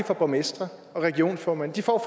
for borgmestre og regionsformænd de får